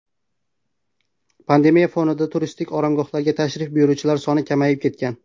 Pandemiya fonida turistik oromgohlarga tashrif buyuruvchilar soni kamayib ketgan.